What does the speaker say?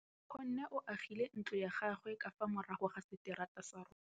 Nkgonne o agile ntlo ya gagwe ka fa morago ga seterata sa rona.